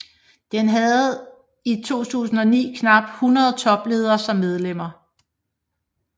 Den havde i 2009 knap 100 topledere som medlemmer